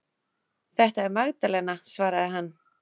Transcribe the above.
Þetta er Magdalena, svaraði hann.